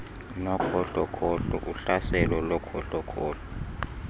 nokhohlokhohlo uhlaselo lokhohlokhohlo